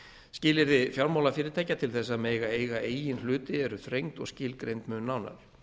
skilyrði fjármálafyrirtækja til þess að mega eiga eigin hluti eru þrengd eru og skilgreind mun nánar